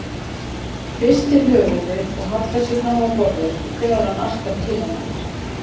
Hristir höfuðið og hallar sér fram á borðið þegar hann arkar til hennar.